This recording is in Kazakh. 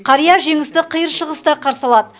қария жеңісті қиыр шығыста қарсы алады